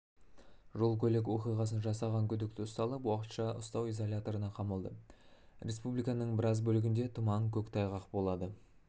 жол-көлік оқиғасын жасаған күдікті ұсталып уақытша ұстау изоляторына қамалды республиканың біраз бөлігінде тұман көк тайғақ болады